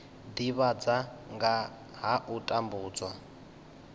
divhadza nga ha u tambudzwa